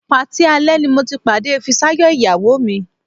Patí alẹ́ ni mo ti pàdé Fisáyọ̀ ìyàwó mi